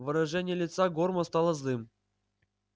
выражение лица горма стало злым